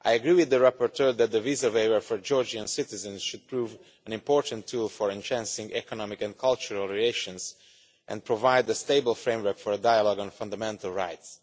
I agree with the rapporteur that the visa waiver for Georgian citizens should prove an important tool for enhancing economic and cultural relations, and provide a stable framework for a dialogue on fundamental rights.